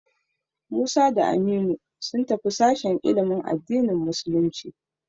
Musa da Aminu sun tafi sashen ilimin addinin musulunci.